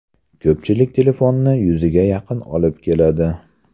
Ko‘pchilik telefonni yuziga yaqin olib keladi.